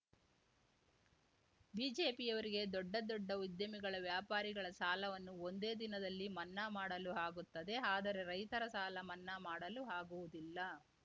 ಬಿಜೆಪಿಯವರಿಗೆ ದೊಡ್ಡ ದೊಡ್ಡ ಉದ್ಯಮಿಗಳ ವ್ಯಾಪಾರಿಗಳ ಸಾಲವನ್ನು ಒಂದೇ ದಿನದಲ್ಲಿ ಮನ್ನಾ ಮಾಡಲು ಆಗುತ್ತದೆ ಆದರೆ ರೈತರ ಸಾಲ ಮನ್ನಾ ಮಾಡಲು ಆಗುವುದಿಲ್ಲ